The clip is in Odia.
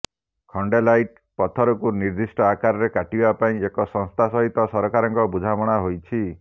ଖଣ୍ଡେଲାଇଟ ପଥରକୁ ନିର୍ଦିଷ୍ଟ ଆକାରରେ କାଟିବା ପାଇଁ ଏକ ସଂସ୍ଥା ସହିତ ସରକାରଙ୍କ ବୁଝାମଣା ହୋଇଛି